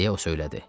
Deyə o söylədi.